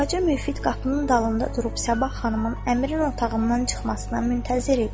Xacə Müfid qapının dalında durub Sabah xanımın əmrin otağından çıxmasına müntəzir idi.